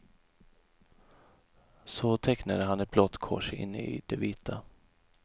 Så tecknade han ett blått kors inne i det vita.